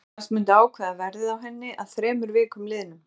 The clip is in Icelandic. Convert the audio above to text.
Hann kvaðst myndu ákveða verðið á henni að þremur vikum liðnum.